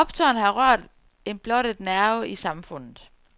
Optøjerne har rørt en blottet nerve i det samfundet.